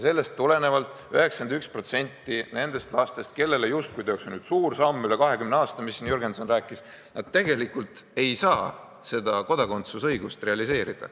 Sellest tulenevalt 91% nendest lastest, kelle heaks justkui tehakse nüüd suur samm üle 20 aasta, nagu Jürgenson rääkis, tegelikult ei saa seda kodakondsuse õigust realiseerida.